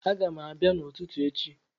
Agam abia n'ututu echi